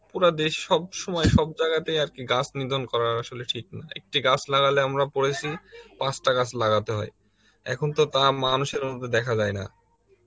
পুরা দেশ সব সময় সব জায়গাতে আর কি গাছ নিধন করার আসলে ঠিক নাই, একটি গাছ লাগালে আমরা পড়েছি পাঁচটা গাছ লাগাতে হয়, এখন তো তা মানুষের উপর দেখা যায় না।